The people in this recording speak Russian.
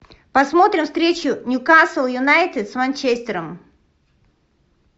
посмотрим встречу ньюкасл юнайтед с манчестером